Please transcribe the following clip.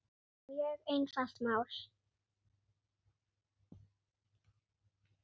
Mjög einfalt mál